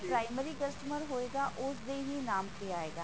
primary customer ਹੋਏਗਾ ਉਸਦੇ ਹੀ ਨਾਮ ਤੇ ਹੀ ਆਏਗਾ